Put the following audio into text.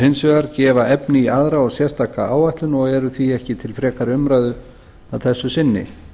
hins vegar gefa efni í aðra og sérstaka áætlun og eru því ekki til frekari umræðu að þessu sinni